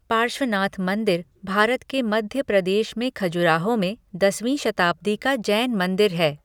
पार्श्वनाथ मंदिर भारत के मध्य प्रदेश में खजुराहो में दसवीं शताब्दी का जैन मंदिर है।